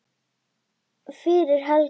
fyrir Helga.